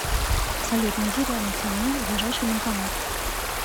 салют найди рядом со мной ближайший банкомат